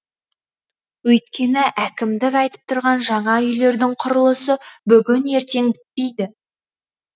өйткені әкімдік айтып тұрған жаңа үйлердің құрылысы бүгін ертең бітпейді